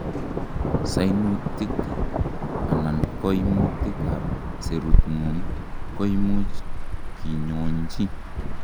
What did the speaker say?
sunutis anan koimutik ab serutngung koimuch kinyonchi